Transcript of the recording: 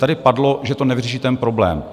Tady padlo, že to nevyřeší ten problém.